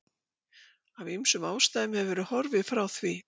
Af ýmsum ástæðum hefur verið horfið frá því.